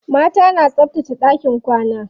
Mata na tsabtace ɗakin kwana.